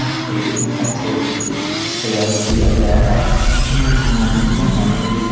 यहां पर कितने अच्छे-अच्छे तरीके से सजावट किया गया है इमेज के माध्यम से हम आपको ये--